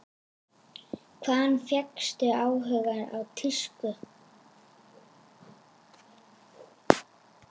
Hvaðan fékkstu áhugann á tísku?